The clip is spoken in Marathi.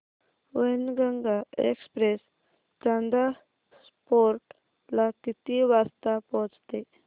वैनगंगा एक्सप्रेस चांदा फोर्ट ला किती वाजता पोहचते